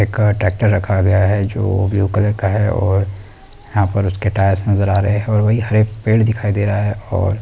एक ट्रैक्टर रखा गया है जो ब्लू कलर का है और यहाँ पर उसके टायर्स नजर आ रहे हैं और वही हरे पेड़ दिखाई दे रहा है ।